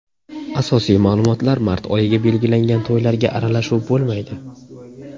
Asosiy ma’lumotlar Mart oyiga belgilangan to‘ylarga aralashuv bo‘lmaydi.